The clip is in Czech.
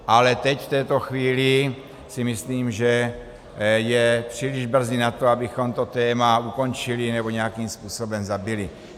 Ale teď v této chvíli si myslím, že je příliš brzy na to, abychom to téma ukončili nebo nějakým způsobem zabili.